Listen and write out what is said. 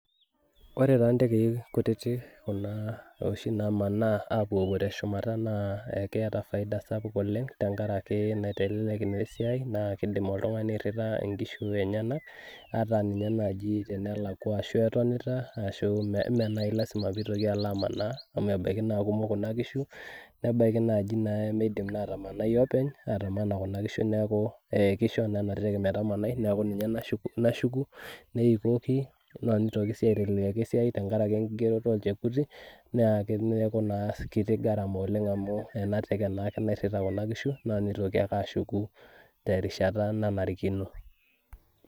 Ore taa ntekei kutitik kuna oshi namanaa apuopuo teshumata naa keeta faida sapuk oleng, tenkaraki naitelelek nesiai naa kidim oltung'ani airrita inkishu enyanak, ata ninye naji tenelakwa ashu etonita, ashu menai lasima pitoki amanaa amu ebaiki naa kumok kuna kishu, nebaiki naji naa nemeidim naa atamanai openy, atamana kuna kishu neeku kisho naa enateke metamanai neeku ninye nashuku, neikoki naa nitoki aiteleliaki esiai tenkaraki enkigeroto olchekuti, naa neeku naa ketii garama oleng amu ena teke naake nairrita kuna kishu, na nitoki ake ashuku terishata nanarikino.